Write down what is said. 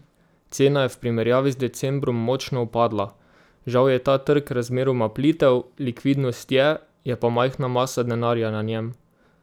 Cena je v primerjavi z decembrom močno upadla, žal je ta trg razmeroma plitev, likvidnost je, je pa majhna masa denarja na njem.